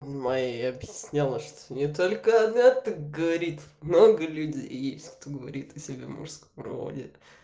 мэй ей объясняла что не только она так говорит много людей есть кто говорит о себе в мужском роде